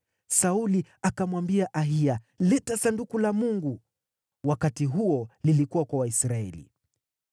Sauli akamwambia Ahiya, “Leta Sanduku la Mungu.” (Wakati huo lilikuwa kwa Waisraeli.)